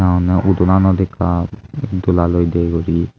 aonney udonanot ekka itdolaloi de guri.